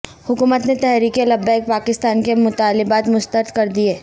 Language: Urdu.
حکومت نے تحریک لبیک پاکستان کے مطالبات مسترد کردیئے